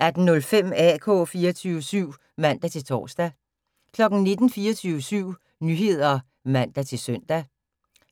18:05: AK 24syv (man-tor) 19:00: 24syv Nyheder (man-søn)